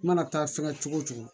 I mana taa fɛngɛ cogo o cogo